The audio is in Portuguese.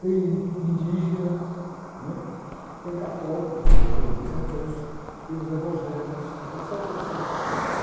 Tem in, indígena, né?hum. em católico, do qual sou representante, tem os evangélicos, etecetera, etecetera, etecetera,